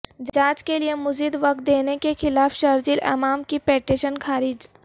جانچ کیلئے مزید وقت دینے کیخلاف شرجیل امام کی پٹیشن خارج